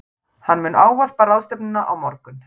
Hann mun ávarpa ráðstefnuna á morgun